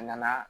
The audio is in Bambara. A nana